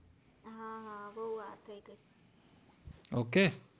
ok